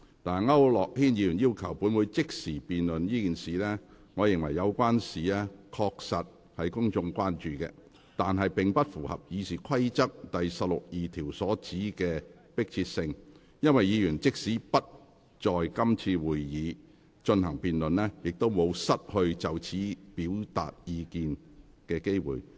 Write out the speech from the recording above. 區諾軒議員要求本會即時辯論這事，我認為，有關事宜確實是公眾非常關注的，但並不符合《議事規則》第162條所指的迫切性，因為議員即使不在今次會議進行辯論，也不會失去就此事表達意見的機會。